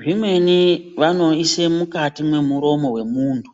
Zvimweni vanoise mukati mwemuromo vemuntu.